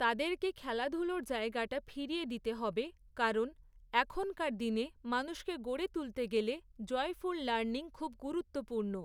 তাদেরকে খেলাধুলোর জায়গাটা ফিরিয়ে দিতে হবে, কারণ এখনকার দিনে, মানুষকে গড়ে তুলতে গেলে, জয়ফুল লার্নিং খুব গুরুত্বপূর্ণ।